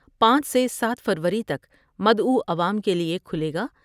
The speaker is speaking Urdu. پانچ سے سات فروری تک مدعوعوام کے لئے کھلے گا۔